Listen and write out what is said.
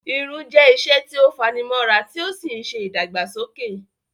Irun jẹ́ iṣẹ́ tí ó fani mọ́ra tí ó sì ń ṣe ìdàgbàsókè